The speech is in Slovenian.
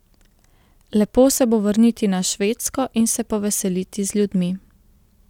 Lepo se bo vrniti na Švedsko in se poveseliti z ljudmi.